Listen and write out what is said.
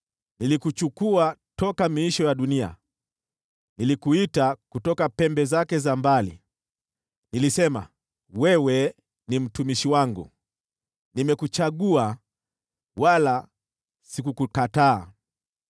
nilikuchukua toka miisho ya dunia, nilikuita kutoka pembe zake za mbali. Nilisema, ‘Wewe ni mtumishi wangu’; nimekuchagua, wala sikukukataa.